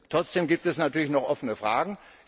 Trotzdem gibt es natürlich noch offene Fragen.